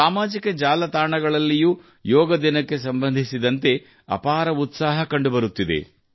ಸಾಮಾಜಿಕ ಜಾಲತಾಣಗಳಲ್ಲಿಯೂ ಯೋಗ ದಿನಕ್ಕೆ ಸಂಬಂಧಿಸಿದಂತೆ ಅಪಾರ ಉತ್ಸಾಹ ಕಂಡುಬರುತ್ತಿದೆ